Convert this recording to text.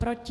Proti?